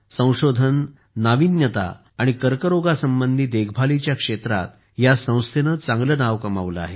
संशोधन नाविन्यता आणि कर्करोग संबंधी देखभालीच्या क्षेत्रात या संस्थेने चांगले नाव कमावले आहे